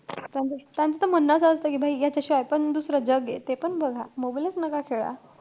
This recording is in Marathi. त्यांचं~ त्यांचं त म्हणणंच असतं कि यांच्याशिवायपण दुसरं जगे. ते पण बघा. mobile च नका खेळा.